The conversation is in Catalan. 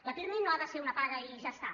el pirmi no ha de ser una paga i ja està